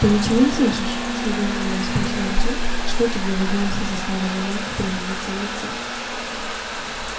ты ничего не слышишь с недоумением спросил артём и что-то в его голосе заставило женьку перемениться в лице